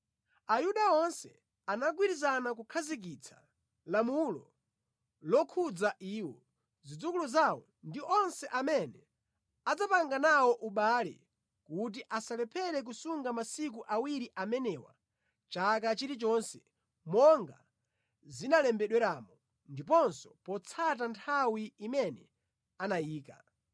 Ayuda onse anagwirizana kukhazikitsa lamulo lokhudza iwo, zidzukulu zawo ndi onse amene adzapanga nawo ubale kuti asalephere kusunga masiku awiri amenewa chaka chilichonse monga zinalembedweramo ndiponso potsata nthawi imene anayika.